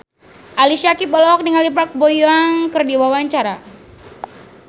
Ali Syakieb olohok ningali Park Bo Yung keur diwawancara